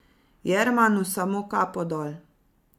Jermanu samo kapo dol.